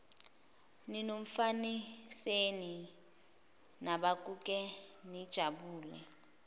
ninomfaniseni nabukeka nijabule